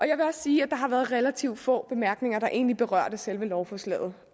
jeg vil også sige at der har været relativt få bemærkninger der egentlig berørte selve lovforslaget